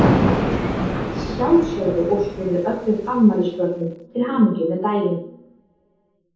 Að sjálfsögðu óskum við öllum afmælisbörnum til hamingju með daginn.